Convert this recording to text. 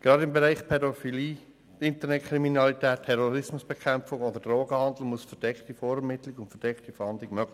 Gerade in den Bereichen Pädophilie, Internetkriminalität oder Drogenhandel muss die verdeckte Vorermittlung und Fahndung möglich sein.